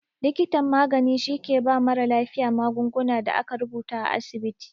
Likitan magani shi ke ba mara lafiya magungunan da aka rubuta a asibiti